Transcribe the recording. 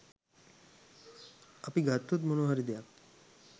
අපි ගත්තොත් මොනවාහරි දෙයක්